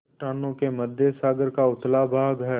चट्टानों के मध्य सागर का उथला भाग है